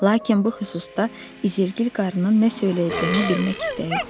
Lakin bu xüsusda İzerqil qarının nə söyləyəcəyini bilmək istəyirdim.